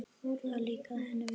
Það líkaði henni vel.